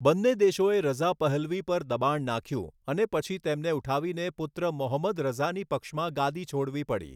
બંને દેશોએ Reza Pahlavi પર દબાણ નાખ્યું અને પછી તેમને ઉઠાવીને પુત્ર મોહમ્મદ રઝાની પક્ષમાં ગાદી છોડવી પડી.